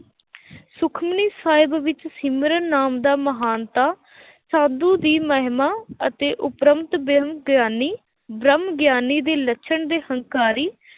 ਸੁਖਮਨੀ ਸਾਹਿਬ ਵਿੱਚ ਸਿਮਰਨ ਨਾਮ ਦਾ ਮਹਾਨਤਾ ਸਾਧੂ ਦੀ ਮਹਿਮਾ ਅਤੇ ਉਪਰੰਤ ਬ੍ਰਹਮਗਿਆਨੀ, ਬ੍ਰਹਮਗਿਆਨੀ ਦੇ ਲੱਛਣ ਦੇ ਹੰਕਾਰੀ